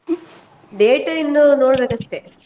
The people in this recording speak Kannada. date ಇನ್ನು ನೋಡ್ ಬೇಕಸ್ಟೆ.